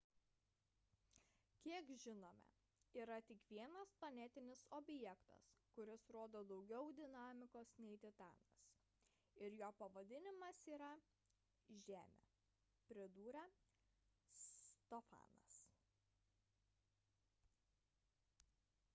kiek žinome yra tik vienas planetinis objektas kuris rodo daugiau dinamikos nei titanas ir jo pavadinimas yra žemė – pridūrė stofanas